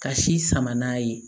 Ka si sama n'a ye